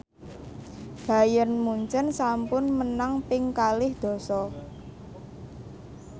Bayern Munchen sampun menang ping kalih dasa